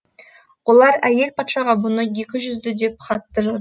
олар әйел патшаға бұны екі жүзді деп хат та жаз